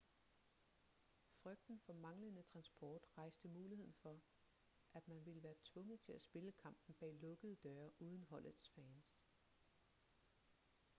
frygten for manglende transport rejste muligheden for at man ville være tvunget til at spille kampen bag lukkede døre uden holdets fans